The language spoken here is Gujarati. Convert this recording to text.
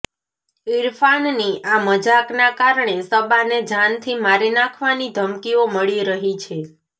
ઇરફાનની આ મજાકનાં કારણે સબાને જાનથી મારી નાંખવાની ધમકીઓ મળી રહી છે